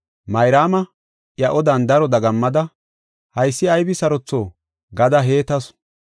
Mayraama iya odan daro dagammada, “Haysi aybi sarotho” gada heetasu.